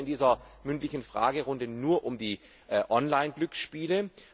Es geht hier in dieser mündlichen Fragerunde nur um die Online Glücksspiele.